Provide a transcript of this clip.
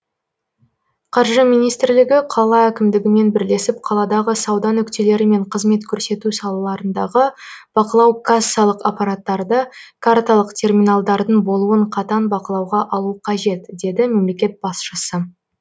қаржы министрлігі қала әкімдігімен бірлесіп қаладағы сауда нүктелері мен қызмет көрсету салаларындағы бақылау кассалық аппараттарды карталық терминалдардың болуын қатаң бақылауға алуы қажет деді мемлекет басшысы